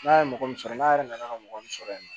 N'a ye mɔgɔ min sɔrɔ n'a yɛrɛ nana ka mɔgɔ min sɔrɔ yen nɔ